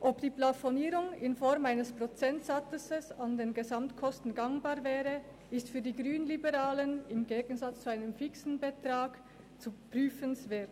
Die Frage, ob die Plafonierung in Form eines Prozentsatzes an den Gesamtkosten einen gangbaren Weg darstellen würde, ist für die Grünliberalen im Gegensatz zur Festlegung eines fixen Betrags prüfenswert.